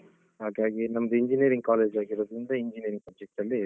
ಹಾಗಾಗಿ ನಮ್ದು engineering college ಆಗಿರುದ್ರಿಂದ engineer subject ಅಲ್ಲೇ.